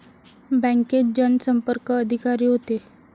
बँकेत जनसंपर्क अधिकारी होते